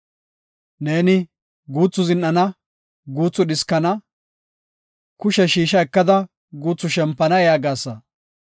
Neeni “guuthu zin7ana; guuthu dhiskana; kushe shiisha ekada guuthu shempana” yaagasa.